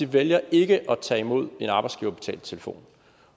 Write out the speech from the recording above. vælger ikke at tage imod en arbejdsgiverbetalt telefon